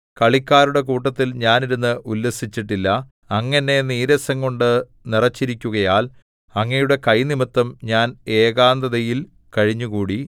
കളിക്കാരുടെ കൂട്ടത്തിൽ ഞാൻ ഇരുന്ന് ഉല്ലസിച്ചിട്ടില്ല അങ്ങ് എന്നെ നീരസംകൊണ്ടു നിറച്ചിരിക്കുകയാൽ അങ്ങയുടെ കൈനിമിത്തം ഞാൻ ഏകാന്തതയിൽ കഴിഞ്ഞുകൂടി